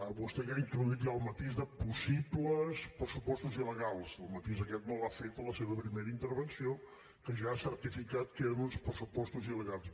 vostè ha introduït ja el matís de possibles pressupostos il·legals el matís aquest no l’ha fet a la seva primera intervenció que ja ha certificat que eren uns pressupostos il·legals